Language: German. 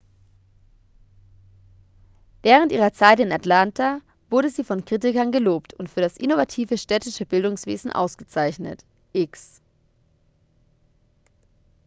während ihrer zeit in atlanta wurde sie von kritikern gelobt und für das innovative städtische bildungswesen ausgezeichnet.x